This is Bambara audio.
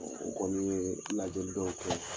Ɔ u kɔni ye lajɛli dɔw kɛ.